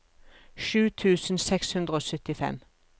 sju tusen seks hundre og syttifem